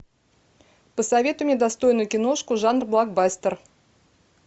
посоветуй мне достойную киношку жанр блокбастер